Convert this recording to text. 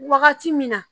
Wagati min na